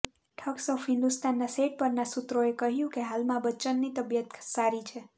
thugs of હિન્દોસ્તાનના set પરના સૂત્રોએ કહ્યું કે હાલમાં બચ્ચનની તબિયત સારી છે